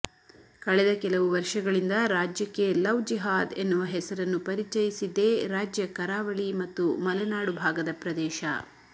ಕಳೆದ ಕೆಲವು ವರ್ಷಗಳಿಂದ ರಾಜ್ಯಕ್ಕೆ ಲವ್ ಜಿಹಾದ್ ಎನ್ನುವ ಹೆಸರನ್ನು ಪರಿಚಯಿಸಿದ್ದೇ ರಾಜ್ಯ ಕರಾವಳಿ ಮತ್ತು ಮಲೆನಾಡು ಭಾಗದ ಪ್ರದೇಶ